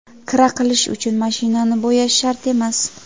Kira qilish uchun mashinani bo‘yash shart emas.